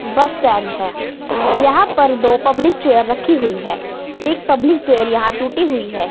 बस स्टैंड है यहां पर दो पब्लिक चेयर रखी हुई है एक पब्लिक चेयर यहां टूटी हुई है।